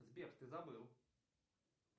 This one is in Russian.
сбер ты забыл